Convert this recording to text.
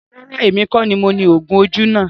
Rárá, èmi kọ ní mo ni oògùn ojú náà